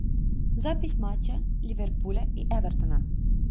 запись матча ливерпуля и эвертона